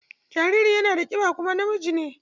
Jaririn yana da kiba kuma namiji ne.